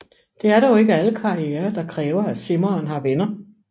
Det er dog ikke alle karrierer der kræver at simmeren har venner